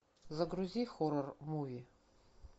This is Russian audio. загрузи хоррор муви